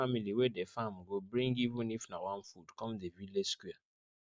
every family wey dey farm go bring even if na one food come the village square